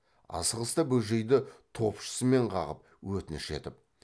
асығыста бөжейді топшысымен қағып өтініш етіп